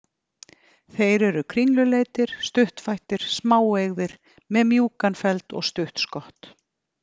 Þeir eru kringluleitir, stuttfættir, smáeygðir, með mjúkan feld og stutt skott.